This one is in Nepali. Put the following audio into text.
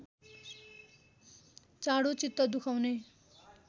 चाँडो चित्त दुखाउने